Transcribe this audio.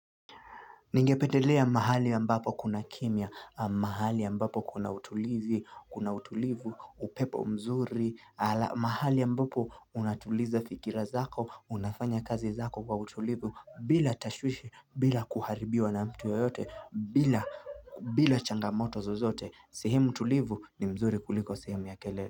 Ningependelea mahali ya mbapo kuna kimya, mahali ambapo kuna utulivu kuna utulivu, upepo mzuri, mahali ya mbapo unatuliza fikira zako, unafanya kazi zako kwa utulivu, bila tashwishi, bila kuharibiwa na mtu yoyote, bila changamoto zozote, sehemu tulivu ni mzuri kuliko sehemu ya kelele.